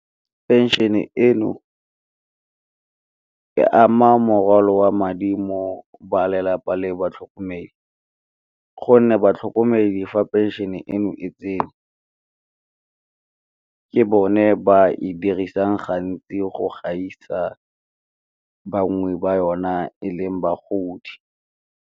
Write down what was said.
Pension-e eno e ama morwalo wa madi mo balelapa le batlhokomedi, gonne batlhokomedi fa pension-e eno e tsene ke bone ba e dirisang gantsi go gaisa bangwe ba yona e leng bagodi.